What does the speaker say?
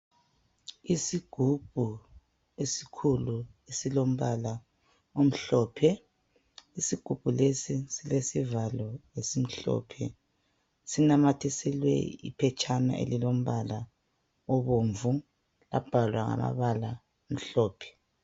Isigubhu esikhulu esilombala omhlophe. Isigubhu lesi silesivalo esimhlophe. Sinamathiselwe iphetshana elilombala obomvu labhalwa ngamabala amhlophe.